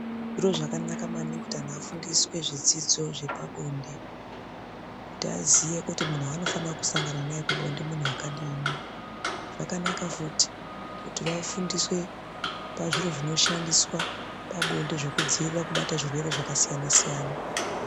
Zviro zvakanaka maningi kuti antu afundiswe zvidzidzo zvepabonde kuti aziye kuti munhu waanofana kusangana naye pabonde munhu akadini. Zvakanaka futi kuti vafundiswe pazviro zvinoshandiswa pabonde zvekudziirira kubata zvirwere zvakasiyana.